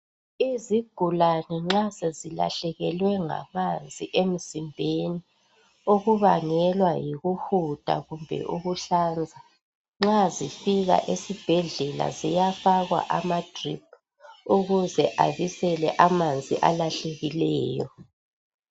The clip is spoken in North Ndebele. izigulane nxa sezilahlekilwe ngamanzi emzimbeni okubangelwa yikuhuda kumbe ukuhlanza nxa zifika esibhedlela ziyafakwa amadrip ukuze abisele amanzi alahlekileyo